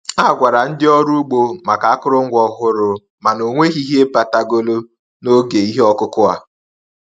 A gwara ndị ọrụ ugbo maka akụrụngwa ọhụrụ, mana ọ nweghị ihe batagolụ n'oge ihe ọkụkụ a.